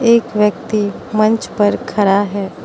एक व्यक्ति मंच पर खड़ा हैं।